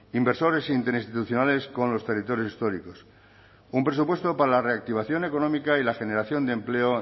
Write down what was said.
inversores interinstitucionales con los territorios históricos un presupuesto para la reactivación económica y la generación de empleo